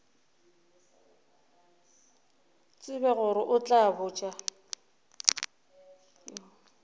tsebe gore o tla botša